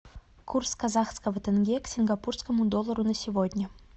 курс казахского тенге к сингапурскому доллару на сегодня